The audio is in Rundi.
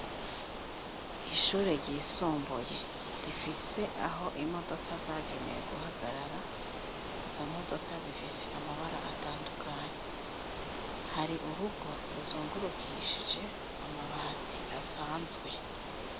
Ishure ryisumbuye rifise aho imodoka zagenewe guhagarara izo modoka zifise amabara atandukanye hari urugo ruzungurukishije amabati asanzwe.